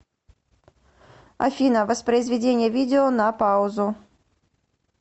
афина воспроизведение видео на паузу